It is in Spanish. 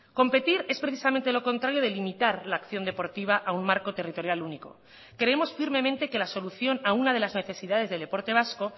competir es precisamente lo contrario de limitar la acción deportiva a un marco territorial único creemos firmemente que la solución a una de las necesidades del deporte vasco